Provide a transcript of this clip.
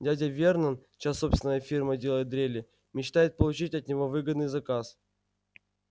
дядя вернон чья собственная фирма делает дрели мечтает получить от него выгодный заказ